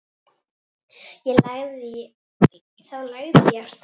Þá lagði ég af stað.